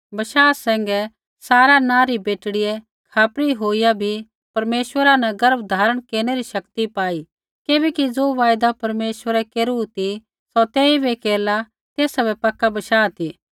बशाह सैंघै सारा नाँ री बेटड़ियै खापरी होईया भी परमेश्वरा न गर्भ धारण केरनै री शक्ति पाई किबैकि ज़ो वायदा परमेश्वरै केरू ती सौ तेइबै केरला तेसा बै पक्का बशाह ती